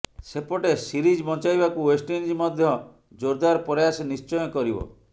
ସେପଟେ ସିରିଜ୍ ବଞ୍ଚାଇବାକୁ ୱେଷ୍ଟଇଣ୍ଡିଜ୍ ମଧ୍ୟ ଜୋରଦାର ପ୍ରୟାସ ନିଶ୍ଚୟ କରିବ